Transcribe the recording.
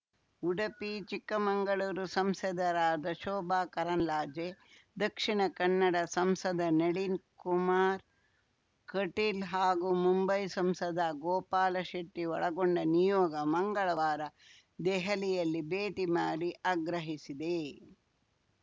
ಉಡಪಿ ಚಿಕ್ಕಮಂಗಳೂರು ಸಂಸದರಾದ ಶೋಭಾ ಕರಂದ್ಲಾಜೆ ದಕ್ಷಿಣ ಕನ್ನಡ ಸಂಸದ ನಳಿನ್‌ ಕುಮಾರ್‌ ಕಟೀಲ್‌ ಹಾಗೂ ಮುಂಬೈ ಸಂಸದ ಗೋಪಾಲ ಶೆಟ್ಟಿಒಳಗೊಂಡ ನಿಯೋಗ ಮಂಗಳವಾರ ದೆಹಲಿಯಲ್ಲಿ ಭೇಟಿ ಮಾಡಿ ಆಗ್ರಹಿಸಿದೆ